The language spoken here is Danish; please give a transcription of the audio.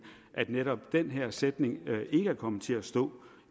at netop den her sætning ikke er kommet til at stå